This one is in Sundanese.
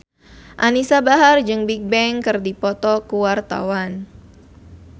Anisa Bahar jeung Bigbang keur dipoto ku wartawan